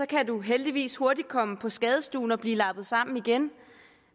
kan man heldigvis hurtigt komme på skadestuen og blive lappet sammen igen